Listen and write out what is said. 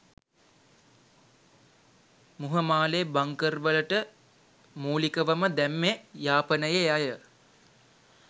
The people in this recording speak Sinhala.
මුහමාලේ බංකර් වලට මූලිකවම දැම්මෙ යාපනයෙ අය